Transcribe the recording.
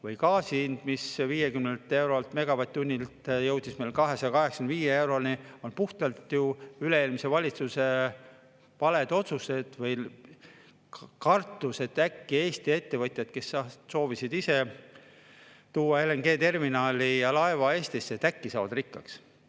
Või gaasi hind, mis 50 eurolt megavatt-tunnilt jõudis 285 euroni, selle taga on puhtalt ju üle-eelmise valitsuse valed otsused või kartus, et äkki Eesti ettevõtjad, kes soovisid ise tuua LNG-terminali ja -laeva Eestisse, saavad rikkaks.